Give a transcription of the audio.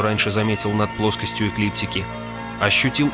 раньше заметил над плоскостью эклиптики ощутил